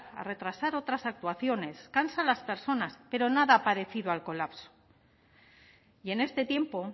a retrasar otras actuaciones cansa a las personas pero nada parecido al colapso y en este tiempo